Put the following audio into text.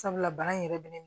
Sabula bana in yɛrɛ bɛ ne